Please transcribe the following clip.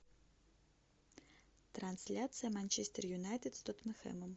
трансляция манчестер юнайтед с тоттенхэмом